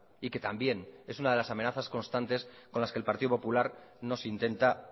y que también es una de las amenazas constantes con las que el partido popular nos intenta